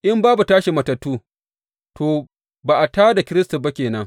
In babu tashin matattu, to, ba a tā da Kiristi ma ba ke nan.